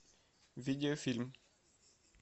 видеофильм